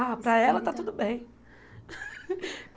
Ah, para ela está tudo bem.